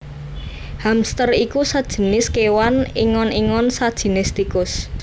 Hamster iku sajinis kéwan ingon ingon sajinis tikus